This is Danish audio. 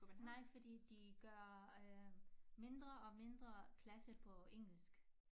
Nej fordi de gør øh mindre og mindre klasse på engelsk